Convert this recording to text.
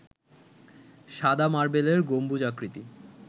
সাদা মার্বেলের গম্বুজাকৃতি